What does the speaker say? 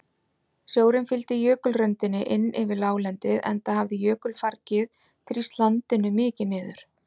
Sjórinn fylgdi jökulröndinni inn yfir láglendið enda hafði jökulfargið þrýst landinu mikið niður.